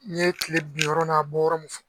N ye tile binyɔrɔ n'a bɔyɔrɔ mun fɔ